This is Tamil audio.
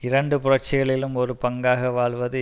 இரண்டு புரட்சிகளிலும் ஒரு பங்காக வாழ்வது